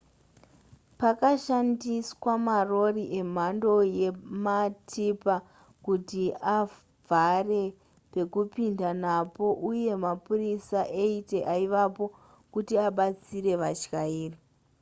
pakashandiswa marori emhando yematipa kuti avhare pekupinda napo uye mapurisa 80 aivapo kuti abatsire vatyairi